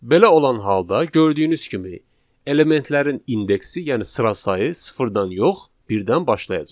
Belə olan halda gördüyünüz kimi elementlərin indeksi, yəni sıra sayı sıfırdan yox, birdən başlayacaq.